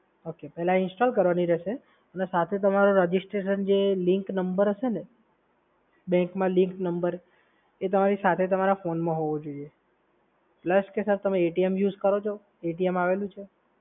Okay. પહેલા તમારે Install કરવાની રહેશે. અને સાથે તમારું registration જે linked number હશેને, bank માં linked number એ તમારી સાથે તમારા ફોનમાં હોવો જોઈએ. પ્લસ કે સર તમે યુઝ કરો છો? આવેલું છે?